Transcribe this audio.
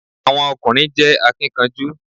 Àwọn ọ̀kùnrin jẹ́ akínkanjú